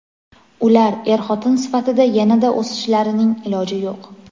ular "er-xotin sifatida yanada o‘sishlarining" iloji yo‘q.